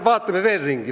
Vaatame veel ringi!